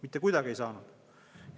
Mitte kuidagi ei saanud!